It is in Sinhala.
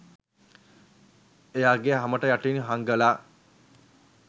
එයාගෙ හමට යටින් හංගල